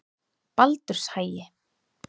Baldurshagi